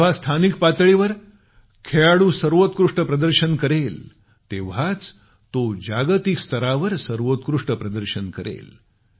जेव्हा स्थानिक पातळीवर खेळाडू सर्वोत्कृष्ट प्रदर्शन करेल तेव्हाच तो जागतिक स्तरावर सर्वोत्कृष्ट प्रदर्शन करेल